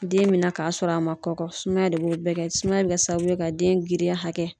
Den mɛ na k'a sɔrɔ a man kɔkɔ sumaya de b'o bɛɛ kɛ sumaya bɛ kɛ sababu ye ka den girinya hakɛ